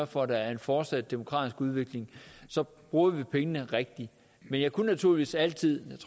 for at der er en fortsat demokratisk udvikling bruger vi pengene rigtigt men jeg kunne naturligvis altid